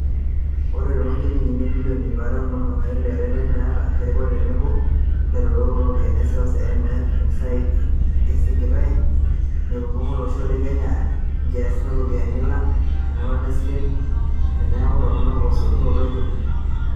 Ore too njilingini ibilioni iip are o onom oile, ereten naata erikore tenebo ilautarok looropiyiani e seuseu (IMF), eisigitay metudong'o olosho le Kenya inkiasin ooropiyani alang' tenepona isilen teneeku toronok esotunoto e kodi.